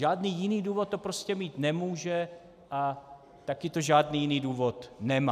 Žádný jiný důvod to prostě mít nemůže a taky to žádný jiný důvod nemá.